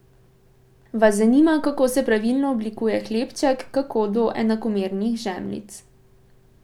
Vas zanima, kako se pravilno oblikuje hlebček, kako do enakomernih žemljic?